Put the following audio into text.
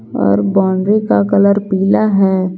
और बाउंड्री का कलर पीला है।